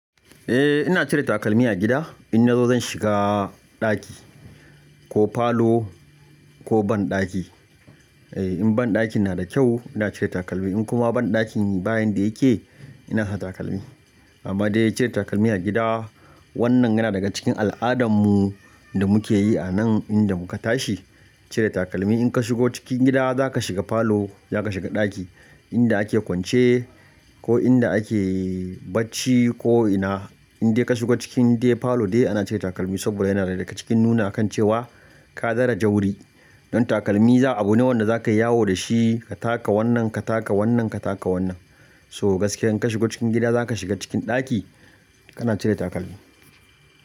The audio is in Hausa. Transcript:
Eh ina cire takalmi a gida, in na zo zan shiga ɗaki ko falo ko banɗaki. Eh in banɗakin na da kyau ina cire takalmi, in kuma banɗakin bayin da yake ina sa takalmi. Amma dai cire takalmi a gida wannan yana daga cikin al'adan mu da muke yi a nan inda muka tashi. Cire takalmi in ka shigo cikin gida za ka shiga falo, za ka shiga ɗaki inda ake kwance ko inda ake bacci ko'ina. Inde ka shigo cikin dai falo dai ana cire takalmi saboda yana daga cikin nuna kan cewa ka zara jawuri. Don takalmi za abu ne wanda za ka yi yawo da shi ka taka wannan, ka taka wannan, ka taka wannan. So gaskiya in ka shigo cikin gida za ka shiga cikin ɗaki kana cire takalmi.